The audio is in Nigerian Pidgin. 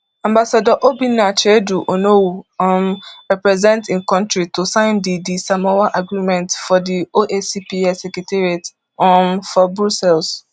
ambassador obinna chiedu onowu um represent im kontri to sign di di samoa agreement for di oacps secretariat um for brussels